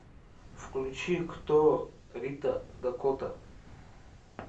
включи кто рита дакота